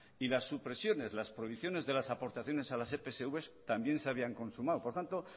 y la supresiones las prohibiciones de las aportaciones a las epsv también se habían consumado por tanto